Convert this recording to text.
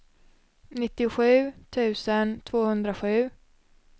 nittiosju tusen tvåhundrasju